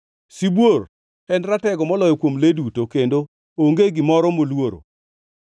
Sibuor, en ratego moloyo kuom le duto, kendo onge gimoro moluoro,